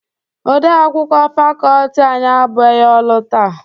Odeakwụkwọ fakọọti anyị abụghị ọrụ taa.